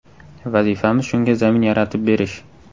Vazifamiz shunga zamin yaratib berish.